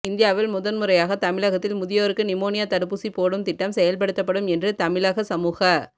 இந்தியாவில் முதன்முறையாக தமிழகத்தில் முதியோருக்கு நிமோனியா தடுப்பூசி போடும் திட்டம் செயல்படுத்தப்படும் என்று தமிழக சமூக